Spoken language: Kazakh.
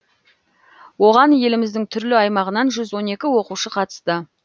оған еліміздің түрлі аймағынан жүз он екі оқушы қатысты